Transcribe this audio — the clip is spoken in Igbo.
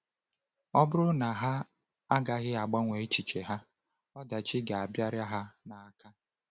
Ọ bụrụ na ha agaghị agbanwe echiche ha, ọdachi ga-abịarị ha n’aka.